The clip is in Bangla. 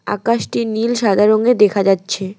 আকাশটি নীল সাদা রঙ্গের দেখা যাচ্ছে।